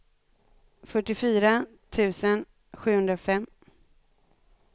fyrtiofyra tusen sjuhundrafem